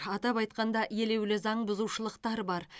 атап айтқанда елеулі заңбұзушылықтар бар